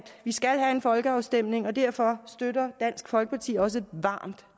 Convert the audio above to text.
vi skal have en folkeafstemning og derfor støtter dansk folkeparti også varmt